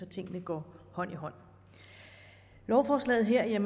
tingene går hånd i hånd lovforslaget her